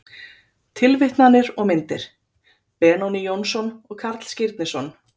Tilvitnanir og myndir: Benóný Jónsson og Karl Skírnisson.